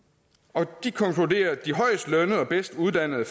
og de konkluderer at de højest lønnede og bedst uddannede